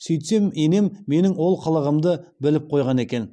сөйтсем енем менің ол қылығымды біліп қойған екен